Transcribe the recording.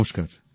নমস্কার